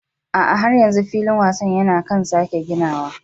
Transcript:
A'a, har yanzu filin wasan yana kan sake ginawa.